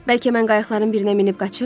Bəlkə mən qayıqların birinə minib qaçım?